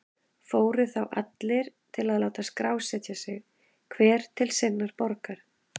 Fóru þá allir til að láta skrásetja sig, hver til sinnar borgar.